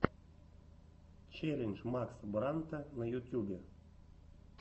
челлендж макса брандта на ютубе